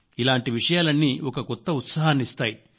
ఇలాంటి విషయాలన్నీ ఒక కొత్త ఉత్సాహాన్ని ఇస్తాయి